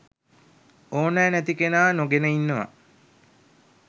ඕනැ නැති කෙනා නොගෙන ඉන්නවා